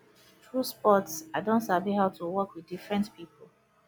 through sports i don sabi how to work with different pipo